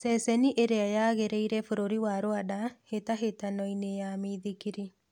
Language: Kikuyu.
Ceceni ĩrĩa yagĩrĩire bũrũri wa Rwanda hĩtahĩtano-inĩ ya mĩithikiri